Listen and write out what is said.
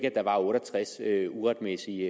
at der var otte og tres uretmæssige